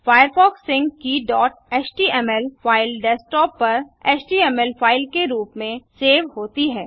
Firefox sync key HTML file desktop पर HTML file के रूप में सेव होती है